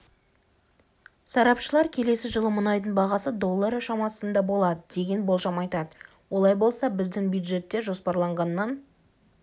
сарапшылар келесі жылы мұнайдың бағасы доллары шамасында болады деген болжам айтады олай болса біздің бюджетте жоспарланғаннан